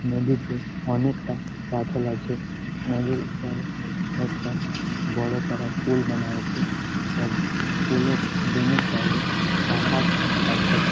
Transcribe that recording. নদীতে অনেকটা পাথর আছে | নদীর ওপারে একটা বড়ো করা পুল বানা আছে | তার পুলের দুনো সাইড -এ পাহাড় আছে।